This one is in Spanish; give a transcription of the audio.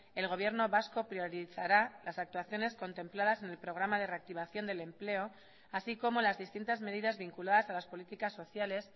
el gobierno vasco priorizará las actuaciones contempladas en el programa de reactivación del empleo así como las distintas medidas vinculadas a las políticas sociales